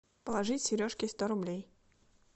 положить сережке сто рублей